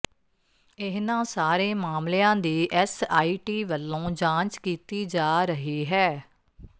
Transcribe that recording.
ਇਨ੍ਹਾਂ ਸਾਰੇ ਮਾਮਲਿਆਂ ਦੀ ਐਸਆਈਟੀ ਵੱਲੋਂ ਜਾਂਚ ਕੀਤੀ ਜਾ ਰਹੀ ਹੈ